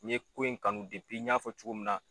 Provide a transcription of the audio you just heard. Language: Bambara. N ɲe ko in kanu n ɲafɔ cogo min na